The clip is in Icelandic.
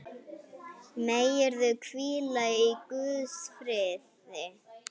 Megirðu hvíla í Guðs friði.